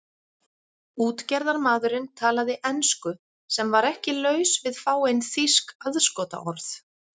Útgerðarmaðurinn talaði ensku sem var ekki laus við fáein þýsk aðskotaorð.